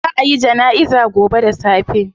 Zaa a yi janaiza gobe da safe